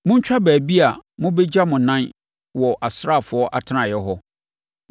Montwa baabi a mobɛgya mo anan wɔ asraafoɔ atenaeɛ hɔ.